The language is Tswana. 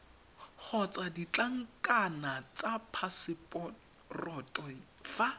kgotsa ditlankana tsa phaseporoto fa